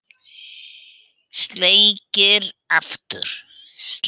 Sleikir aftur.